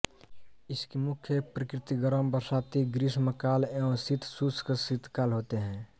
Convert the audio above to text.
इसकी मुख्य प्रकृति गर्म बरसाती ग्रीष्मकाल एवं शीतशुष्क शीतकाल होते हैं